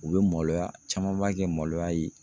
U bɛ maloya camanba kɛ maloya ye.